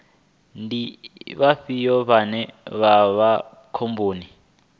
ndi vhafhio vhane vha vha khomboni